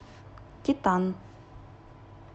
титан